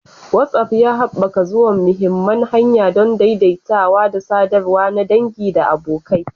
WhatsApp ya haɓaka zuwa mahimman hanya don daidaitawa da sadarwa na dangi da abokai.